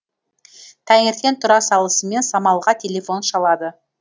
таңертең тұра салысымен самалға телефон шалады